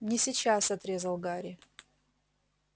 не сейчас отрезал гарри